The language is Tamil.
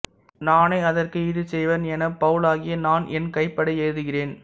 நானே அதற்கு ஈடு செய்வேன் எனப் பவுலாகிய நான் என் கைப்பட எழுதுகிறேன்